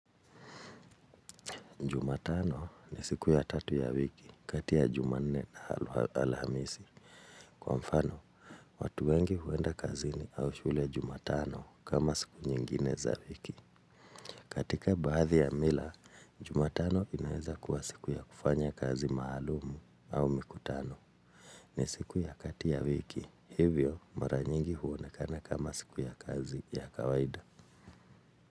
Jumatano ni siku ya tatu ya wiki kati ya juma nne na alhamisi. Kwa mfano, watu wengi huenda kazini au shule jumatano kama siku nyingine za wiki. Katika baadhi ya mila, jumatano inaeza kuwa siku ya kufanya kazi maalumu au mikutano. Ni siku ya kati ya wiki, hivyo mara nyingi huonekana kama siku ya kazi ya kawaida.